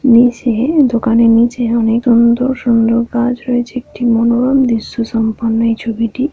নিচে দোকানের নিচে অনেক সুন্দর সুন্দর গাছ হয়েছে একটি মনোরম দৃশ্য সম্পন্ন এই ছবিটি।